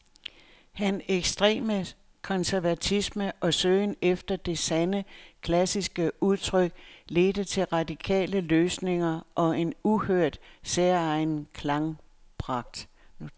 Hans ekstreme konservatisme og søgen efter det sande, klassiske udtryk ledte til radikale løsninger og en uhørt, særegen klangpragt.